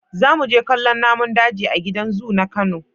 Za mu je kallon namun daji a gida zu na Kano.